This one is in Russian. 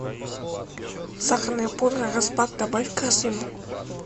сахарная пудра распак добавь в корзину